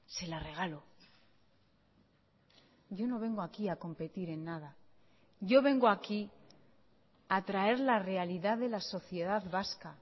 se la regalo yo no vengo aquí a competir en nada yo vengo aquí a traer la realidad de la sociedad vasca